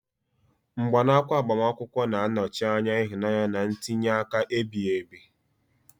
Mgbanaka agbamakwụkwọ na-anọchi anya ịhụnanya na ntinye aka ebighị ebi.